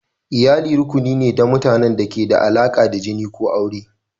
Iyali rukuni ne na mutanen da ke da alaƙa da jini ko aure.